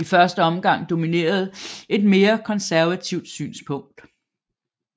I første omgang dominerede et mere konservativt synspunkt